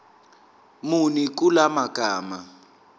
muni kula magama